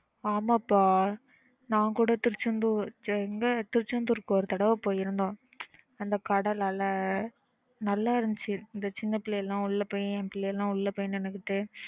ஆமா பா நான் கூட Tiruchendur எங்க Tiruchendur க்கு ஒரு தடவ போயிருந்தோம் அந்த கடல் அலை நல்லா இருந்துச்சு இந்த சின்ன பிள்ளைங்க எல்லாம் உள்ள போய் என் பிள்ளைங்க எல்லாம் உள்ள போய் நின்னுகிட்டு